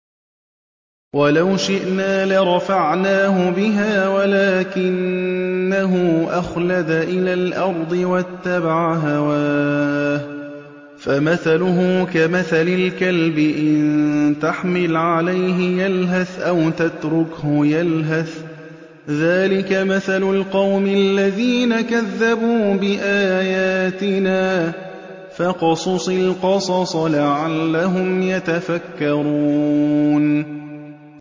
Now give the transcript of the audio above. وَلَوْ شِئْنَا لَرَفَعْنَاهُ بِهَا وَلَٰكِنَّهُ أَخْلَدَ إِلَى الْأَرْضِ وَاتَّبَعَ هَوَاهُ ۚ فَمَثَلُهُ كَمَثَلِ الْكَلْبِ إِن تَحْمِلْ عَلَيْهِ يَلْهَثْ أَوْ تَتْرُكْهُ يَلْهَث ۚ ذَّٰلِكَ مَثَلُ الْقَوْمِ الَّذِينَ كَذَّبُوا بِآيَاتِنَا ۚ فَاقْصُصِ الْقَصَصَ لَعَلَّهُمْ يَتَفَكَّرُونَ